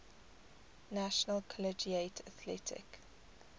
national collegiate athletic